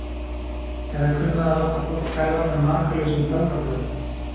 Eða kunnað að láta fólk hverfa með makalausum töfrabrögðum.